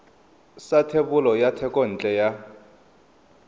sa thebolo ya thekontle ya